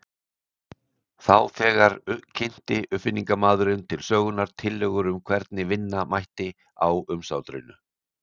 Þá þegar kynnti uppfinningamaðurinn til sögunnar tillögur um hvernig vinna mætti á umsátrinu.